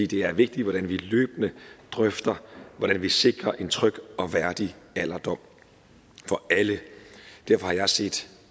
det er vigtigt at vi løbende drøfter hvordan vi sikrer en tryg og værdig alderdom for alle derfor har jeg set